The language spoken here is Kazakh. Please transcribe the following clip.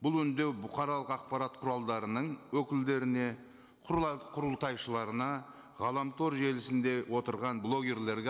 бұл үндеу бұқаралық ақпарат құралдарының өкілдеріне құрылтайшыларына ғаламтор желісінде отырған блогерлерге